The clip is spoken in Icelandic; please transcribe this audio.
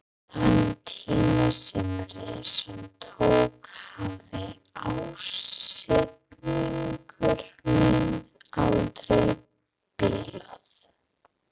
Þann tíma sem reisan tók hafði ásetningur minn aldrei bilað.